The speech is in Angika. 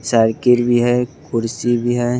साइकिल भी है कुर्सी भी है।